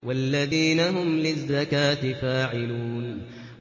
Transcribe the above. وَالَّذِينَ هُمْ لِلزَّكَاةِ فَاعِلُونَ